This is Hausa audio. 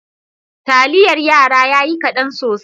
Taliyar yara yayi kadan sosai.